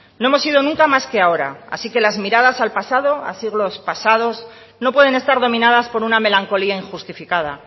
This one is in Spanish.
no hemos sido nunca más que ahora así que las miradas al pasado a siglos pasados no pueden estar dominadas por una melancolía injustificada